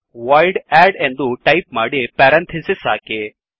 void add ಎಂದು type ಮಾಡಿ parenthesis ಹಾಕಿ